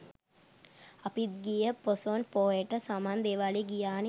අපිත් ගිය පොසොන් පෝයට සමන් දේවාලෙ ගියානෙ.